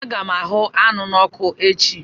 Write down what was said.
Aga m ahụ anụ n'oku echi